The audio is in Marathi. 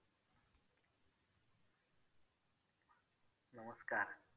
कमी जो अ नष्ट होणार नाही तसा वाला plastic वैगेरे ते सगळ